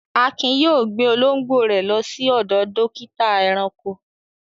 Akin yóò gbé olóńgbò rẹ̀ lọ sí ọ̀dọ̀ dọ́kítá ẹranko.